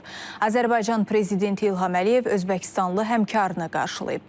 Azərbaycan prezidenti İlham Əliyev özbəkistanlı həmkarını qarşılayıb.